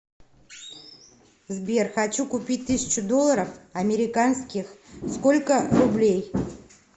сбер хочу купить тысячу долларов американских сколько рублей